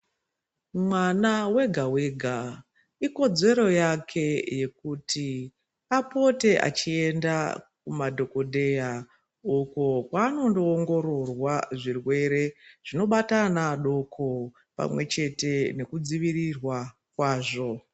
Mwana wega wega ikodzero yake yekuti apote achienda kumadhokodheya uko kwanondoongororwa zvirwere zvinobata ana adoko pamwe chete ngekudzivirirwa kwazvo.